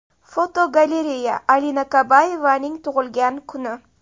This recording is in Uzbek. Fotogalereya: Alina Kabayevaning tug‘ilgan kuni.